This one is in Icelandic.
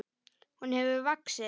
Hún hefur vaxið.